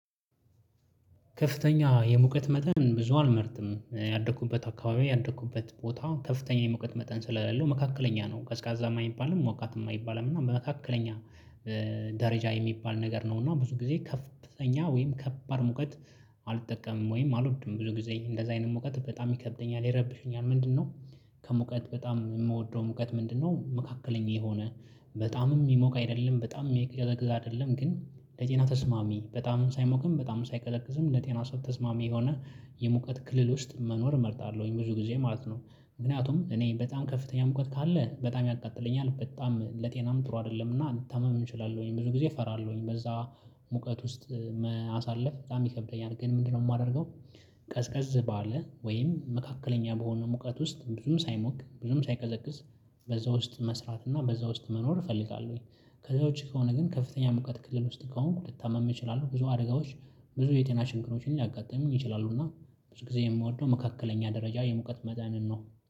ከፍተኛ የሙቀት መጠን ብዙ አልመርትም። ያደኩበት አካባቢ ያደኩበት ቦታ ከፍተኛ የሙቀት መጠን ስለሌለው መካከለኛ ነው ቀዝቃዛ የማይባልም፣ ሞቃት የማይባልም፣ እና በመካከለኛ ደረጃ የሚባል ነገር ነው፣ እና ብዙ ጊዜ ከፍተኛ ወይም ከባድ ሙቀት አልጠቀምም ወይም አልወድም። ብዙ ጊዜ እንደዛ አይነት ሙቀት በጣም ይከብደኛል፣ ይረብሸኛል ምንድነው ከሙቀት በጣም የምወደው ሙቀት ምንድነው! መካከለኛ የሆነ፣ በጣምም የሚሞቅ አይደለም፣ በጣም የጨና ተስማሚ በጣምም ሳይሞቅም፣ በጣምም ሳይቀዘቅዝም እንደ ጤና ሰው ተስማሚ የሆነ የሙቀት ክልል ውስጥ መኖር እመርጣለሁኝ ብዙ ጊዜ ማለት ነው። ምክንያቱም እኔ በጣም ከፍተኛ ሙቀት ካለ በጣም ያቃጥለኛል፣ በጣም ለጤናም ጥሩ አይደለም፣ እና ታመም እችላለሁኝ፣ ብዙ ጊዜ እፈራለሁኝ በዛ ሙቀት ውስጥ አሳለፍ በጣም ይከብደኛል፣ ግን ምንድነው የማደርገው? ቀዝቀዝ ባለ ወይም መካከለኛ በሆነ ሙቀት ውስጥ ብዙም ሳይሞቅ፣ ብዙም ሳይቀዘቅዝ በዛ ውስጥ መስራት እና በዛ ውስጥ መኖር እፈልጋለሁኝ። ከዛውች ከሆነ ግን ከፍተኛ ሙቀት ክልል ውስጥ ከሆንኩ ልታመም እችላለሁ፣ ብዙ አደጋዎች፣ ብዙ የቴና ክሮችን ሊያጋጥምኝ ይችላሉና። ብዙ ጊዜ የምወደው መካከለኛ ደረጃ የመቶ መጠን ነው።